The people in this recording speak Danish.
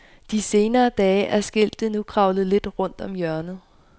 De senere dage er skiltet nu kravlet lidt rundt om hjørnet.